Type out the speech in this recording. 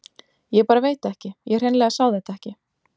Ég bara veit ekki, ég hreinlega sá þetta ekki.